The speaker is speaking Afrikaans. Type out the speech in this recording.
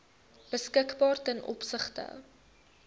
beskikbaar ten opsigte